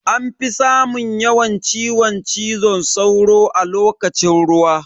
Anfi samun yawan ciwon cizo sauro a lokacin ruwa.